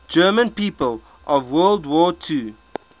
german people of world war ii